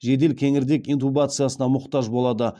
жедел кеңірдек интубациясына мұқтаж болады